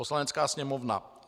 Poslanecká sněmovna